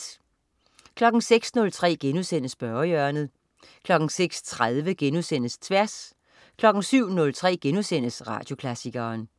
06.03 Spørgehjørnet* 06.30 Tværs* 07.03 Radioklassikeren*